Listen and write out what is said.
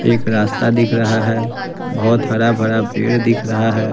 एक रास्ता दिख रहा है बहोत हरा-भरा पेड़ दिख रहा है।